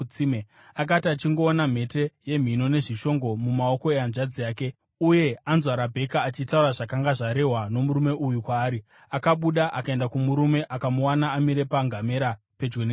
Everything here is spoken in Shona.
Akati achingoona mhete yemhino nezvishongo mumaoko ehanzvadzi yake, uye anzwa Rabheka achitaura zvakanga zvarehwa nomurume uyu kwaari, akabuda akaenda kumurume akamuwana amire pangamera pedyo netsime.